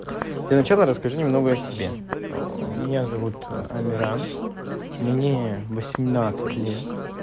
для начала расскажи немного о себе меня зовут амиран мне восемнадцать лет